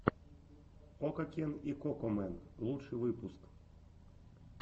окакен и кокомэн лучший выпуск